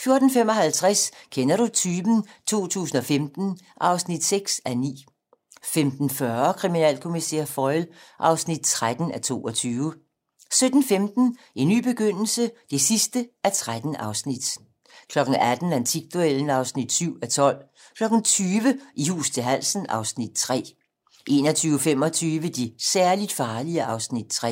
14:55: Kender du typen? 2015 (6:9) 15:40: Kriminalkommissær Foyle (13:22) 17:15: En ny begyndelse (13:13) 18:00: Antikduellen (7:12) 20:00: I hus til halsen (Afs. 3) 21:25: De særligt farlige (Afs. 3)